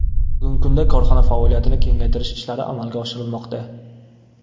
Bugungi kunda korxona faoliyatini kengaytirish ishlari amalga oshirilmoqda.